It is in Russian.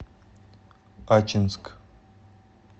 ачинск